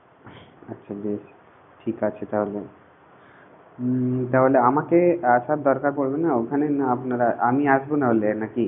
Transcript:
আচ্ছা বেশ ঠিক আছে তাহলে উমম তাহলে আমাকে আসার দরকার পড়বে না ওখানে না আপনারা আমি আসবো না হলে নাকি?